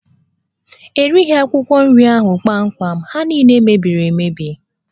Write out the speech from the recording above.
E reghi akwụkwọ nri ndị ahụ kpamkpam, ha niile mebiri emebi